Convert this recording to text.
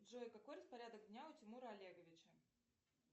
джой какой распорядок дня у тимура олеговича